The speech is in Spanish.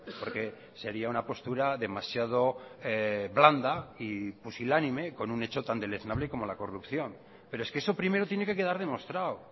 porque sería una postura demasiado blanda y pusilánime con un hecho tan deleznable como la corrupción pero es que eso primero tiene que quedar demostrado